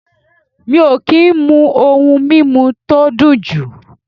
Mi o ki n mu oun mimu to dun ju